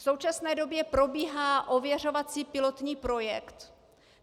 V současné době probíhá ověřovací pilotní projekt.